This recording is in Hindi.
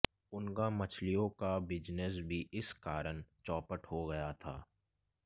उनका मछलियों का बिजनेस भी इस कारण चौपट हो गया था